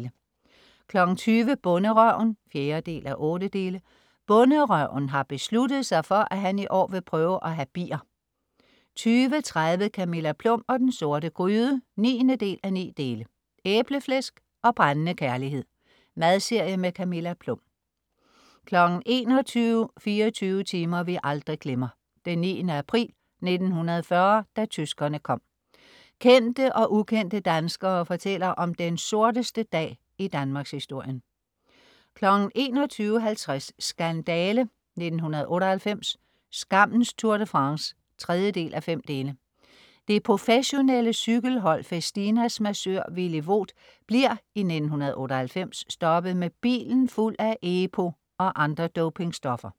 20.00 Bonderøven 4:8 Bonderøven har besluttet sig for, at han i år vil prøve at have bier 20.30 Camilla Plum og den sorte gryde 9:9 Æbleflæsk og brændende kærlighed: Madserie med Camilla Plum 21.00 24 timer vi aldrig glemmer: 9. april 1940. da tyskerne kom. Kendte og ukendte danskere fortæller om den sorteste dag i Danmarkshistorien 21.50 Skandale! 1998, skammens Tour de France. 3:5. Det professionelle cykelhold Festinas massør Villy Voet bliver i 1998 stoppet med bilen fuld af EPO og andre dopingstoffer